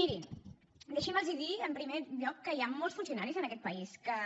mirin deixi’m los dir en primer lloc que hi han molts funcionaris en aquest país que